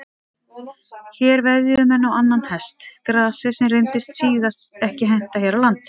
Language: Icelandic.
Hér veðjuðu menn á annan hest, gasið, sem reyndist síðar ekki henta hér á landi.